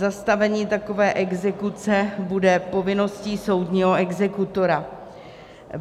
Zastavení takové exekuce bude povinností soudního exekutora.